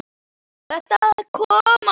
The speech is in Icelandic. Þetta kom á óvart.